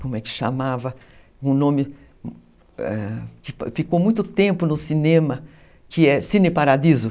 como é que chamava, um nome ãh que ficou muito tempo no cinema, que é Cine Paradiso.